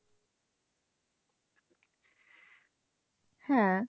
হ্যাঁ।